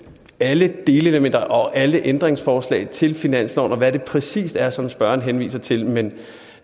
alle delelementer og alle ændringsforslag til finansloven og hvad det præcist er som spørgeren henviser til men